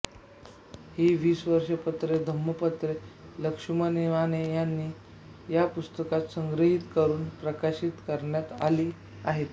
ही वीस पत्रे धम्मपत्रे लक्ष्मण माने यांना या पुस्तकात संग्रहित करून प्रकाशित करण्यात आली आहेत